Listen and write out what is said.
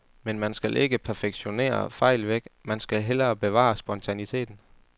Men man skal ikke perfektionere fejl væk, man skal hellere bevare spontaniteten.